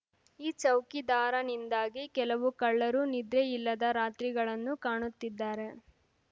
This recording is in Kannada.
ಈ ಚೌಕಿದಾರನಿಂದಾಗಿ ಕೆಲವು ಕಳ್ಳರು ನಿದ್ರೆಯಿಲ್ಲದ ರಾತ್ರಿಗಳನ್ನು ಕಾಣುತ್ತಿದ್ದಾರೆ